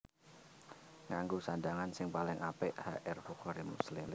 Nganggo sandhangan sing paling apik H R Bukhari Muslim